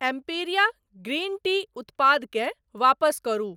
Emperia green tea उत्पादकेँ वापस करू।